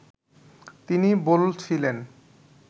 তিনি বলছিলেন